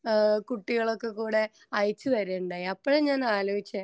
ഏഹ്ഹ് കുട്ടികളൊക്കെ കൂടെ അയച്ചുതരിക ഉണ്ടായി അപ്പോഴാ ഞാൻ ആലോചിച്ചേ